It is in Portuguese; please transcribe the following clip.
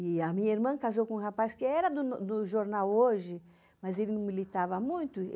E a minha irmã casou com um rapaz que era do jornal Hoje, mas ele não militava muito.